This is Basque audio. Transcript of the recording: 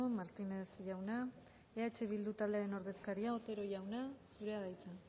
martínez jauna eh bildu taldearen ordezkaria otero jauna zurea da hitza